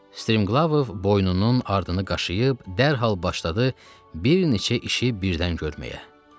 Striglov boynunun ardını qaşıyıb dərhal başladı bir neçə işi birdən görməyə.